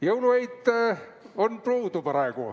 Jõulueit on puudu praegu.